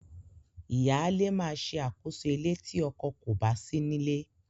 Ìyáalé máa ṣe àkóso ilé tí ọkọ kò bá sí nílé.